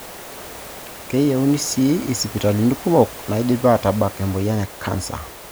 Keyiuni sii isipitalini kumok naidim aatabak emoyian e kansa